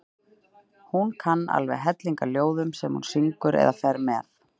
Hún kann alveg helling af ljóðum sem hún syngur eða fer með.